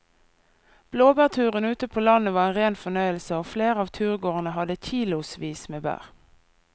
Blåbærturen ute på landet var en rein fornøyelse og flere av turgåerene hadde kilosvis med bær.